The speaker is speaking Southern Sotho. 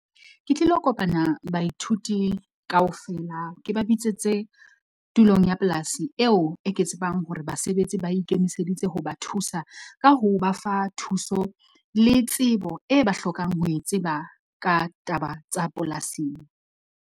Ke tlilo kopana baithuti kaofela ke ba bitsetse tulong ya polasi eo, e ke tsebang hore basebetsi ba ikemiseditse ho ba thusa ka ho ba fa thuso le tsebo e ba hlokang ho e tseba ka taba tsa polasing.